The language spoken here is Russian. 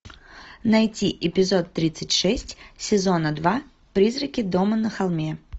найти эпизод тридцать шесть сезона два призраки дома на холме